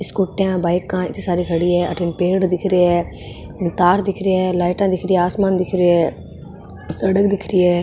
स्कूटीिया बाइकाँ इति सारी खड़ीहै अठन पेड दिख रे है तार दिख रा है लाइट दिख रि है आसमान दिख रो है सड़क दिख रही है।